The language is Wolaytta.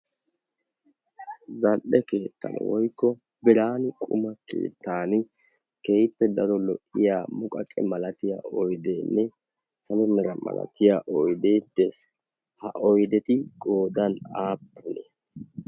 zan''e keettan woikko biraan quma keittan kehippe daro lo''iya muqaqe malatiya oideenne samennera malatiya oyde tees ha oideti godan aappuni